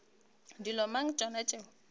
ke dilo mang tšona tšeo